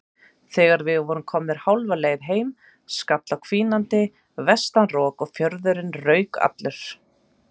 Þegar við vorum komnir hálfa leið heim skall á hvínandi vestanrok og fjörðurinn rauk allur.